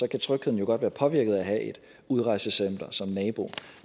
kan trygheden jo godt være påvirket af at have et udrejsecenter som nabo